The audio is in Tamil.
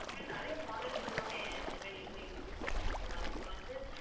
இப்ப நிறைய models எல்லாமே mobile இதுல இருக்குது okay வா நீங்க வந்து